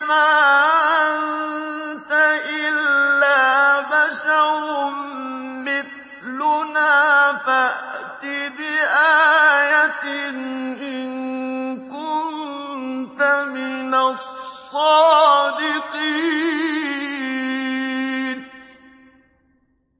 مَا أَنتَ إِلَّا بَشَرٌ مِّثْلُنَا فَأْتِ بِآيَةٍ إِن كُنتَ مِنَ الصَّادِقِينَ